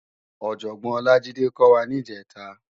Òjòbòn Olajide kò wá nijètá